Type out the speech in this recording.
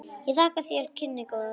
Ég þakka þér kynnin góðu.